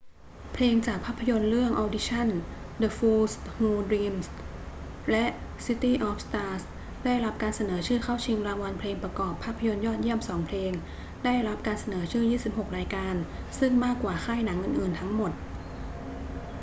เพลงจากภาพยนตร์เรื่อง audition the fools who dream และ city of stars ได้รับการเสนอชื่อเข้าชิงรางวัลเพลงประกอบภาพยนตร์ยอดเยี่ยมสองเพลง ได้รับการเสนอชื่อ 26 รายการ ซึ่งมากกว่าค่ายหนังอื่น ๆ ทั้งหมด